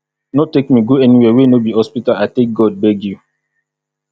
no take me go anywhere wey no be hospital i take god beg you.